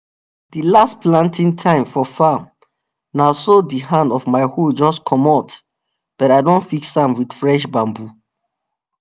di last planting time for farm na so di hand of my hoe jus comot but i don fix am wit fresh bambu